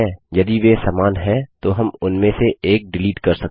यदि वे समान हैं तो हम उनमें से एक डिलीट कर सकते हैं